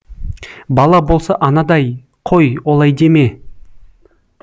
бала болса анадай қой олай деме